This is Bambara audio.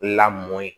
Lamɔn ye